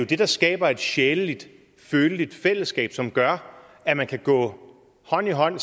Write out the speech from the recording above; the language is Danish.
det der skaber et sjæleligt føleligt fællesskab som gør at man kan gå hånd i hånd